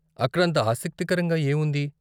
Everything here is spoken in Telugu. అక్కడ అంత ఆసక్తికరంగా ఏముంది?